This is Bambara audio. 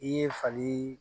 I ye fali